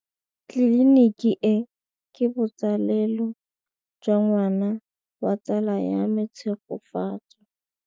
Tleliniki e, ke botsalêlô jwa ngwana wa tsala ya me Tshegofatso.